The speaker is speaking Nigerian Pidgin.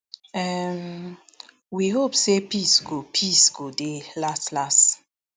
um we hope say peace go peace go dey laslas